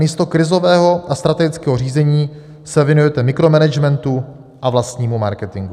Namísto krizového a strategického řízení se věnujete mikromanagementu a vlastnímu marketingu.